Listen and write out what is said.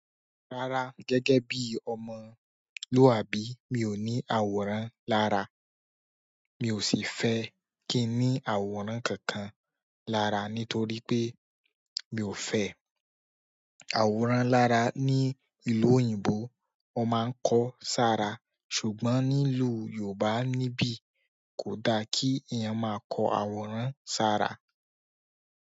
Rárá gẹ́gẹ́ bí ọmọlúwàbí mi ò ní àwòrán lára, mi ò sì fẹ́ kí ní àwòrán kankan lára nítorí pé mi ò fẹ́. Àwòrán lára ní ìlú òyìnbó, wọn máa ń kọ́ sára ṣùgbọ́n nílùú Yorùbá nibi kò da kí èèyàn máa kọ àwòrán sára.